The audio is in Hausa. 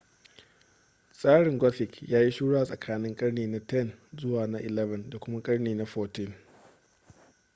tsarin gothic ya yi shura a tsakankanin karni na 10 zuwa na 11 da kuma karni na 14